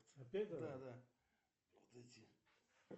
сбер с каким животным себя